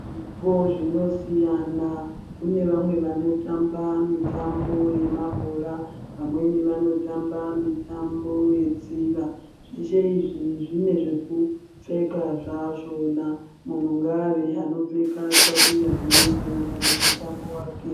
Zvipo zvino siyana kune vamwe vano tamba mitambo ye mabhora vamweni vano tamba mitambo ye tsiva zveshe izvi zvine zveku pfeka zva zvona munhu ngave ano pfeka ndxatuya dzino enderana ne mutambo wake.